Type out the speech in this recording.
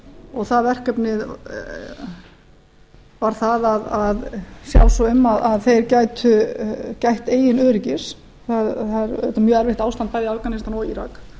og það verkefni var það að sjá svo um að þeir gætu gætt eigin öryggis það er mjög erfitt ástand bæði í afganistan og írak